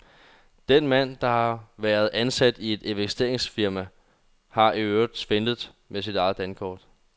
Den mand, der har været ansat i et investeringsfirma, har i øvrigt svindlet med sit eget dankort.